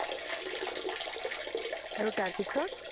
আৰু তাৰপিছত?